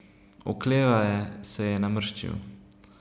Oklevaje se je namrščil.